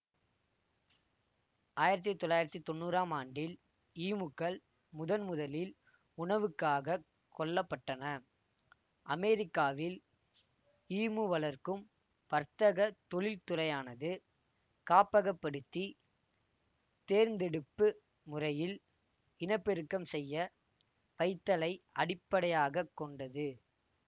ஆயிரத்தி தொள்ளாயிரத்தி தொன்னூறாம் ஆண்டில் ஈமுக்கள் முதன்முதலில் உணவுக்காக கொல்லப்பட்டன அமெரிக்காவில் ஈமு வளர்க்கும் வர்த்தகத் தொழிற்துறையானது காப்பகப்படுத்தி தேர்ந்தெடுப்பு முறையில் இனப்பெருக்கம் செய்ய வைத்தலை அடிப்படையாக கொண்டது